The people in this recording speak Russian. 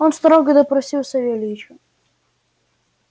он строго допросил савельича